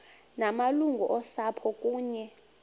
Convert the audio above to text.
ngamalungu osapho kunye